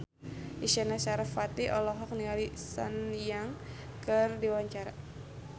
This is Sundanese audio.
Isyana Sarasvati olohok ningali Sun Yang keur diwawancara